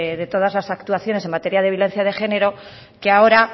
de todas las actuaciones en materia de violencia de género que ahora